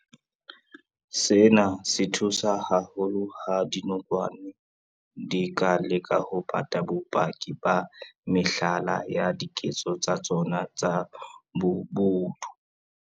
Sena se thusa haholo ha dinokwane di ka leka ho pata bopaki ba mehlala ya diketso tsa tsona tsa bobodu.